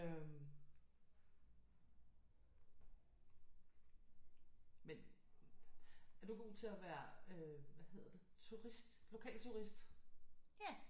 Øh men er du god til at være øh hvad hedder det turist lokalturist